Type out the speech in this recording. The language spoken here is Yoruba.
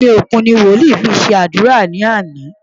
Omi òkun ni wòlíì fi ṣe àdúrà lánàá.